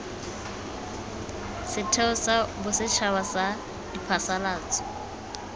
setheo sa bosetšhaba sa diphasalatso